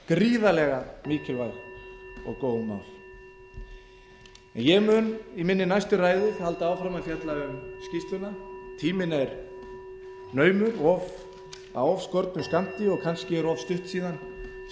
gríðarlega mikilvæg og góð mál ég mun í minni næstu ræðu halda áfram að fjalla um skýrsluna tíminn er naumur af of skornum skammti og kannski er of stutt síðan skýrslan var gefin út en það er